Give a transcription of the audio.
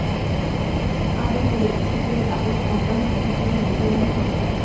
আরও পড়ুন শীতের দাপট অব্যাহত থাকলেও মকর নিয়ে সংশয়